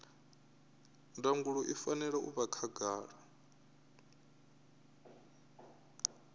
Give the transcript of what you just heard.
ndangulo i fanela u vha khagala